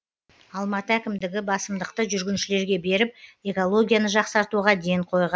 алматы әкімдігі басымдықты жүргіншілерге беріп экологияны жақсартуға ден қойған